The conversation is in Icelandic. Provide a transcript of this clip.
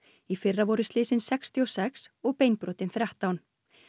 í fyrra voru slysin sextíu og sex og beinbrotin þrettán